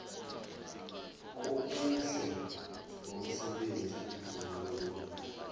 kobuhle bomsebenzi womuntu